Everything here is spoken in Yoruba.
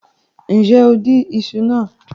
Nje o din iṣu naa